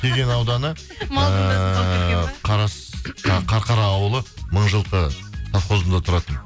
кеген ауданы ыыы қарқара ауылы мыңжылқы савхозында тұратын